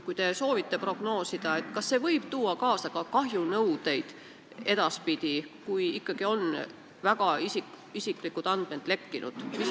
Kui te soovite prognoosida, siis mis te arvate, kas see võib edaspidi tuua kaasa kahjunõudeid, kui ikkagi väga isiklikud andmed on lekkinud?